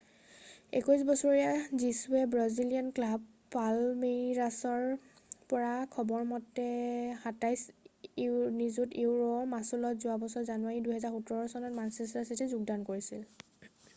21 বছৰীয়া জীছুছে Brazilian club পালমেইৰাছৰ পৰা খবৰ মতে £27 নিযুতৰ মাচুলত যোৱা বছৰৰ জানুৱাৰী 2017 ত মানচেষ্টাৰ চিটীত যোগদান কৰিছিল